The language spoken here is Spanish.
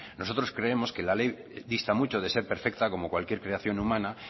nosotros creemos que la ley dista mucho de ser perfecta como cualquier creación humana